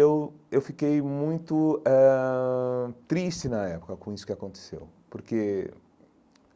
E eu eu fiquei muito eh triste na época com isso que aconteceu, porque